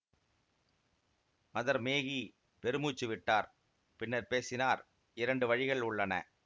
mother Maggie பெருமூச்சு விட்டார் பின்னர் பேசினார் இரண்டு வழிகள் உள்ளன